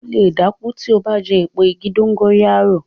O lè dákú tí o bá jẹ eepo igi dongóyárò